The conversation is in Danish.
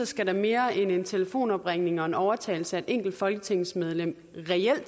skal der mere end en telefonopringning og en overtalelse af et enkelt folketingsmedlem til reelt